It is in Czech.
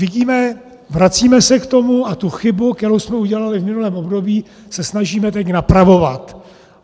Vidíme, vracíme se k tomu a tu chybu, kterou jsme udělali v minulém období, se snažíme teď napravovat.